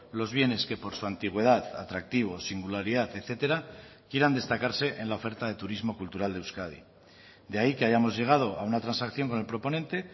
los bienes que por su antigüedad atractivo singularidad etcétera quieran destacarse en la oferta de turismo cultural de euskadi de ahí que hayamos llegado a una transacción con el proponente